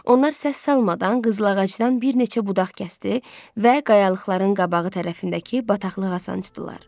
Onlar səs salmadan qızlağacdan bir neçə budaq kəsdi və qayalıqların qabağı tərəfindəki bataqlıq asıncdılar.